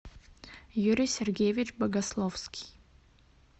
юрий сергеевич богословский